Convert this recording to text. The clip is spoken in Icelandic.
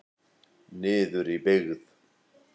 Niður í byggð.